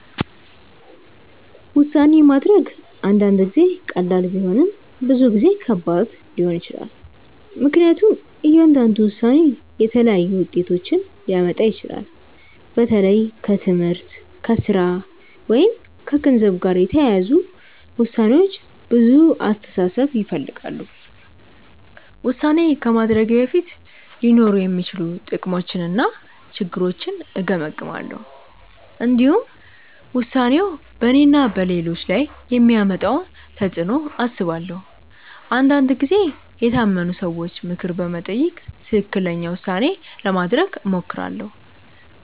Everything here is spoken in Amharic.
ውሳኔ ማድረግ አንዳንድ ጊዜ ቀላል ቢሆንም ብዙ ጊዜ ከባድ ሊሆን ይችላል። ምክንያቱም እያንዳንዱ ውሳኔ የተለያዩ ውጤቶችን ሊያመጣ ይችላል። በተለይ ከትምህርት፣ ከሥራ ወይም ከገንዘብ ጋር የተያያዙ ውሳኔዎች ብዙ አስተሳሰብ ይፈልጋሉ። ውሳኔ ከማድረጌ በፊት ሊኖሩ የሚችሉ ጥቅሞችንና ችግሮችን እገመግማለሁ። እንዲሁም ውሳኔው በእኔና በሌሎች ላይ የሚያመጣውን ተፅዕኖ አስባለሁ። አንዳንድ ጊዜ የታመኑ ሰዎችን ምክር በመጠየቅ ትክክለኛ ውሳኔ ለማድረግ እሞክራለሁ.